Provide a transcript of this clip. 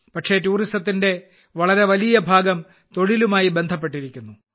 പക്ഷേ ടൂറിസത്തിന്റെ വളരെ വലിയ ഭാഗം തൊഴിലുമായി ബന്ധപ്പെട്ടിരിക്കുന്നു